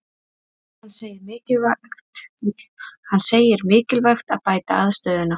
Hann segir mikilvægt að bæta aðstöðuna